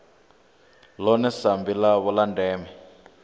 ḽone sambi ḽavho ḽa ndeme